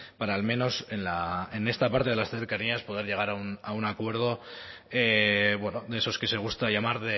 para al menos en esta parte de las cercanías poder llegar a un acuerdo de esos que se gusta llamar